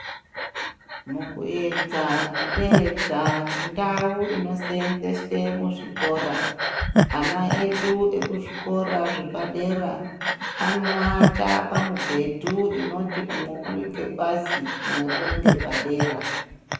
Mukuedza kuderedza ndau inoseenzeswe muzvikora ana edu ekuzvikora zvepadera ana edu anorwara pamubhedhu inoti umwe uringepasi umwe uringepadera.